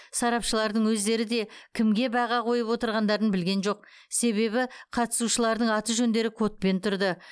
сарапшылардың өздері де кімге баға қойып отырғандарын білген жоқ себебі қатысушылардың аты жөндері кодпен тұрды